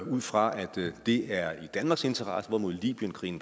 ud fra at det er i danmarks interesse hvorimod libyenkrigen